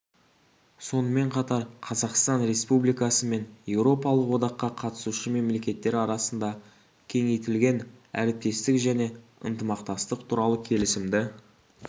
сонымен қатар қазақстан республикасы мен еуропалық одаққа қатысушы мемлекеттер арасында кеңейтілген әріптестік және ынтымақтастық туралы келісімді